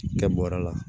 Kɛ bɔrɛ la